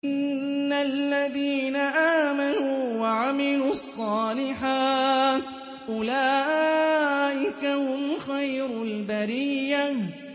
إِنَّ الَّذِينَ آمَنُوا وَعَمِلُوا الصَّالِحَاتِ أُولَٰئِكَ هُمْ خَيْرُ الْبَرِيَّةِ